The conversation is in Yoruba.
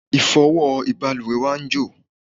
ìfọwọ́ ìbalùwẹ̀ wa ń jò